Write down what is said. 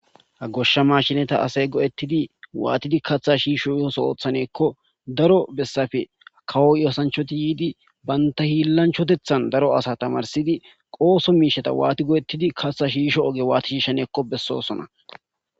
ha goshsha mashineta asay go7ettidi waatidi katha shiishsho ooso oothaneekko daro bessafe kawo osanchoti yiidi banta hiillanchotethan daro asa tamarsidi ooso miisheta waati go7ettidi katha shiisho oge waati shiishaneekko bessoosona.